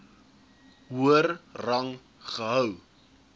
hoër rang gehou